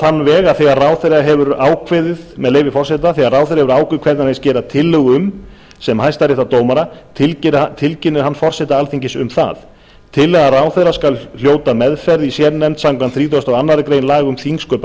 þann veg með leyfi forseta að þegar ráðherra hefur ákveðið hvern hann hyggst gera tillögu um sem hæstaréttardómara tilkynni hann forseta alþingis um það tillaga ráðherra skal hljóta meðferð í sérnefnd samkvæmt þrítugustu og aðra grein laga um þingsköp